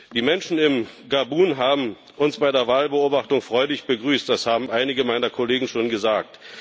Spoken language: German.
Die Menschen in Gabun haben uns bei der Wahlbeobachtung freudig begrüßt das haben einige meiner Kollegen schon gesagt.